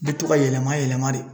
Bɛ to ka yɛlɛma yɛlɛma de.